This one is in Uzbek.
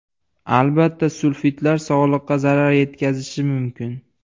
Albatta, sulfitlar sog‘liqqa zarar yetkazishi mumkin.